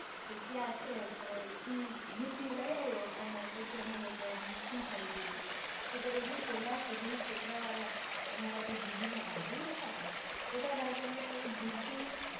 કે ક્યાં છે તો ઈ જુતી લઇ આયવો અને પછી અમે લોકોએ સંતાડી દીધી નઈતર એની પેલાં સુધી છોકરાં વાળા અમારે જે જીજુ ના જે ભાઈબંદ હતાં ને બધાં ભાઈબંદો એ જુતી